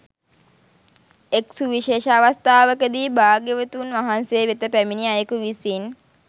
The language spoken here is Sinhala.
එක් සුවිශේෂ අවස්ථාවකදී භාග්‍යවතුන් වහන්සේ වෙත පැමිණි අයෙකු විසින්